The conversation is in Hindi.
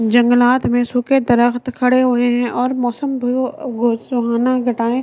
जंगलात में सूखे दरख्त खड़े हुए हैं और मौसम सुहाना घटाए--